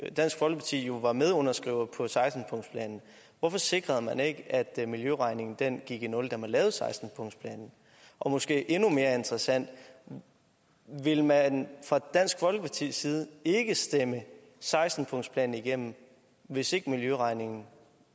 at dansk folkeparti jo var medunderskriver af seksten punktsplanen hvorfor sikrede man ikke at miljøregningen gik i nul da man lavede seksten punktsplanen og måske endnu mere interessant vil man fra dansk folkepartis side ikke stemme seksten punktsplanen igennem hvis ikke miljøregningen